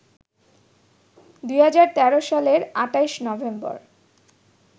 ২০১৩ সালের ২৮ নভেম্বর